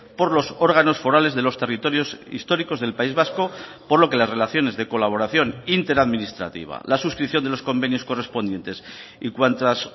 por los órganos forales de los territorios históricos del país vasco por lo que las relaciones de colaboración interadministrativa la suscripción de los convenios correspondientes y cuantas